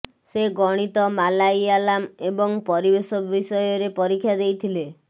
ସେ ଗଣିତ ମାଲାୟାଲାମ ଏବଂ ପରିବେଶ ବିଷୟରେ ପରୀକ୍ଷା ଦେଇଥିଲେ